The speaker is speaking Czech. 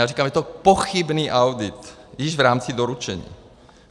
Já říkám, že je to pochybný audit - již v rámci doručení.